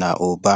na ụba.